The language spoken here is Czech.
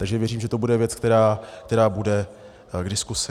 Takže věřím, že to bude věc, která bude k diskuzi.